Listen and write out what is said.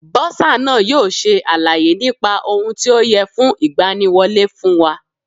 Bọ́sà náà yóò ṣe àlàyé nípa ohun tí ó yẹ fún ìgbaniwọlẹ́ fún wa.